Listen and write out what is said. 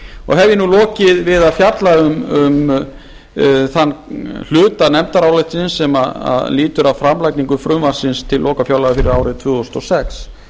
ég nú lokið við að fjalla um þann hluta nefndarálitsins sem lýtur að framlagningu frumvarpsins til lokafjárlaga fyrir árið tvö þúsund og sex